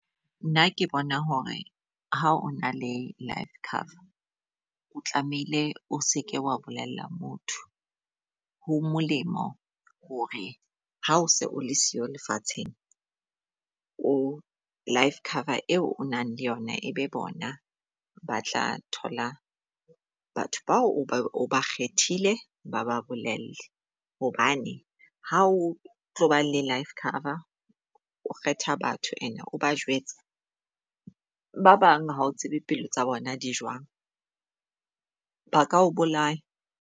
Nna ke bona hore ha o na le life cover o tlamehile o seke wa bolella motho. Ho molemo hore ha o se o le sio lefatsheng life cover eo o nang le yona, e be bona ba tla thola batho bao o ba kgethile ba ba bolelle. Hobane ha o tloba le life cover o kgetha batho and o ba jwetsa ba bang ha o tsebe pelo tsa bona di jwang, ba ka o bolaya.